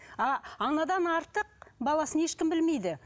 а анадан артық баласын ешкім білмейді